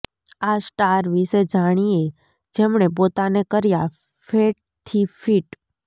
આ સ્ટાર વિષે જાણીએ જેમણે પોતાને કર્યા ફેટ થી ફીટ